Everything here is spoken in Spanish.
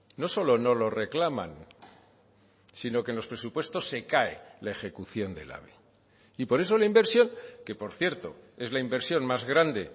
no solo no lo reclaman sino que en los presupuestos se cae la ejecución del ave y por eso la inversión que por cierto es la inversión más grande